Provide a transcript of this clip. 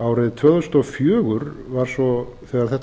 árið tvö þúsund og fjögur var svo þegar þetta